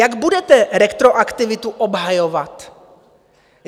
Jak budete retroaktivitu obhajovat?